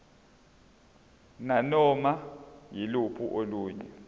nanoma yiluphi olunye